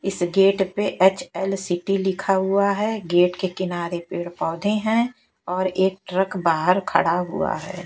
इस गेट पे H L city लिखा हुआ है गेट के किनारे पेड़ पौधे हैं और एक ट्रक बाहर खड़ा हुआ है।